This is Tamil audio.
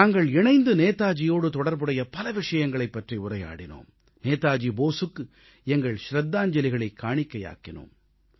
நாங்கள் இணைந்து நேதாஜியோடு தொடர்புடைய பல விஷயங்களைப் பற்றி உரையாடினோம் நேதாஜி போஸுக்கு எங்கள் சிரத்தாஞ்ஜலிகளைக் காணிக்கையாக்கினோம்